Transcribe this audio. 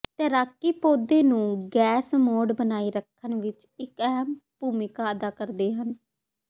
ਤੈਰਾਕੀ ਪੌਦੇ ਨੂੰ ਗੈਸ ਮੋਡ ਬਣਾਈ ਰੱਖਣ ਵਿੱਚ ਇੱਕ ਅਹਿਮ ਭੂਮਿਕਾ ਅਦਾ ਕਰਦੇ ਹਨ